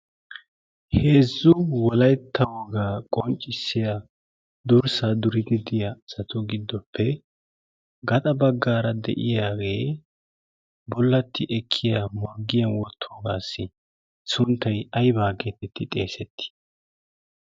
heezzu wolaytta wogaa qonccissiya durssaa durigidiya asatu giddoppe gaxa baggaara de'iyaagee bollatti ekkiya morggiya worttoogaassi sunttai aibaa geettetti xeesetti?